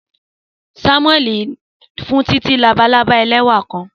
Samueli n fun Titi ni labalaba ẹlẹwa kan.